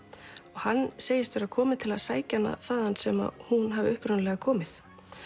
hann segist vera kominn til að sækja hana þaðan sem hún hafi upprunalega komið